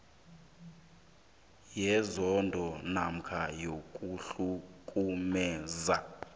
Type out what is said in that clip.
yenzondo namkha ukuhlukumeza